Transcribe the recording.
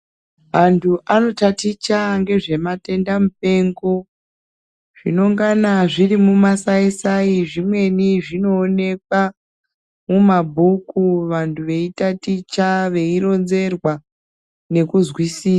Antu anotaticha ngezvematenda mupengo zvinongana zviri mumasaisa sai zvimweni zvinoonekwa mumabhuku vantu veitaticha veironzerwa nekuzwisisa.